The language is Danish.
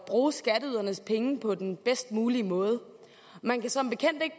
bruge skatteydernes penge på den bedst mulige måde man kan som bekendt ikke